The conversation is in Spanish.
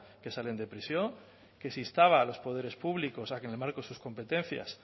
que salen de prisión que se instaba a los poderes públicos a que en el marco de sus competencias